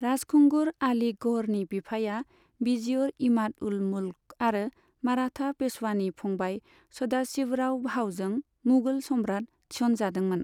राजखुंगुर आली गौहरनि बिफाया विजियर इमाद उल मुल्क आरो मराथा पेशवानि फंबाइ सदाशिवराव भाऊजों मुगल सम्राट थिसनजादोंमोन।